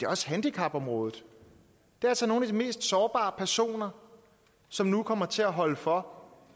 også handicapområdet og nogle af de mest sårbare personer som nu kommer til at holde for